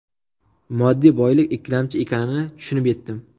Moddiy boylik ikkilamchi ekanini tushunib yetdim.